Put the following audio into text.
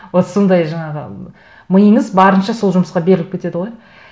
вот сондай жаңағы миыңыз барынша сол жұмысқа беріліп кетеді ғой